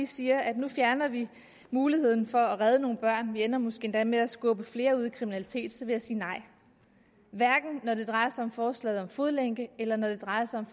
siger at nu fjerner vi muligheden for at redde nogle børn og vi ender måske endda med at skubbe flere ud i kriminalitet så vil jeg sige nej hverken når det drejer sig om forslaget om fodlænke eller når det drejer sig om